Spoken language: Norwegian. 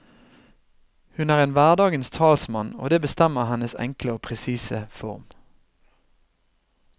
Hun er en hverdagens talsmann, og det bestemmer hennes enkle og presise form.